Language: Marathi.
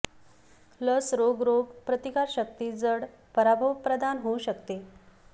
लस रोग रोग प्रतिकारशक्ती जड पराभव प्रदान होऊ शकते